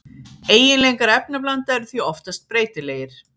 Eiginleikar efnablanda eru því oftast breytilegir.